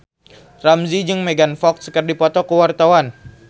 Ramzy jeung Megan Fox keur dipoto ku wartawan